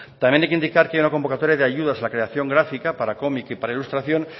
también hay que indicar que hay una convocatoria de ayudas a la creación grafica para comic y para ilustración